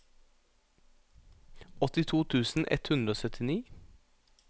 åttito tusen ett hundre og syttini